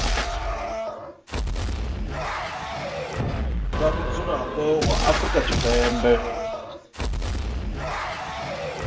vha mudzulapo wa afrika tshipembe